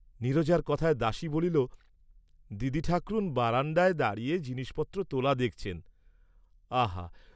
নীরজার কথায় দাসী বলিল, দিদিঠাকরুণ বারাণ্ডায় দাঁড়িয়ে জিনিষপত্র তোলা দেখছেন; আহা!